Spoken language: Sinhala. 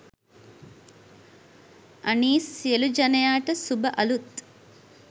අනීස් සියලු ජනයාට සුභ අලුත්